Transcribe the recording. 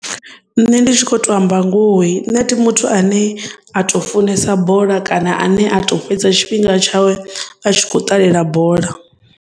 Nṋe ndi tshi kho to amba ngori neti muthu ane a to funesa bola kana ane a to fhedza tshifhinga tshawe a tshi kho ṱalela bola.